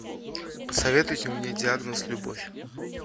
посоветуйте мне диагноз любовь